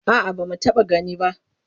A'a ba mu taɓa gani ba.